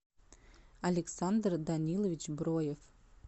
александр данилович броев